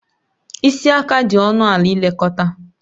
Isi aka dị ọnụ ala ilekọta